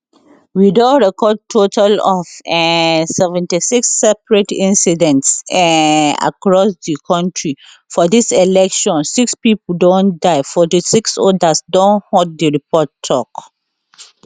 we don record total of um seventy six separate incidents um across di kontri for dis election six pipo don die fourty-six odas don hurt di report tok